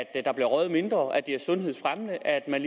at der bliver røget mindre at det er sundhedsfremmende at man